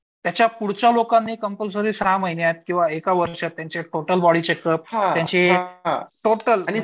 त्याच्या पुढच्या लोकांनी कंपलसरी सहा महिन्यात किंवा एका वर्षात त्यांच्या टोटल बॉडी चेकअप आणि त्यांचं